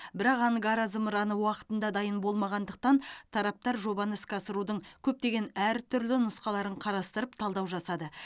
бірақ ангара зымыраны уақытында дайын болмағандықтан тараптар жобаны іске асырудың көптеген әртүрлі нұсқаларын қарастырып талдау жасады